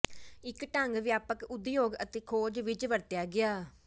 ਇੱਕ ਢੰਗ ਵਿਆਪਕ ਉਦਯੋਗ ਅਤੇ ਖੋਜ ਵਿੱਚ ਵਰਤਿਆ ਗਿਆ